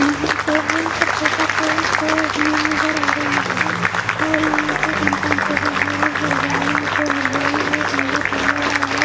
यहाँ पे हम कपड़े का मील नज़र आ रही है और यहाँ पर कंपाउंड के बाहर है हरियारी जो हरियारी है गन्दा पड़ा हुआ है।